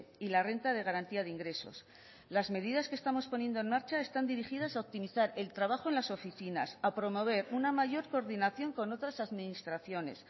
y la renta de garantía de ingresos las medidas que estamos poniendo en marcha están dirigidas a optimizar el trabajo en las oficinas a promover una mayor coordinación con otras administraciones